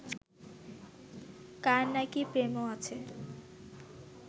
কার নাকি প্রেমও আছে